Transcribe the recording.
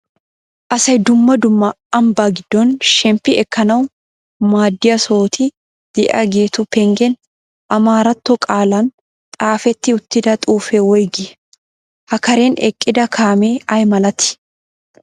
Asay dumma dumma ambbaa giddon shemppi ekkanawu maadiya sohoti de'iyageetu penggen ammaratto qaalan xaafeti uttida xuufee woygii? Ha karen eqqida kaamee ay malatii?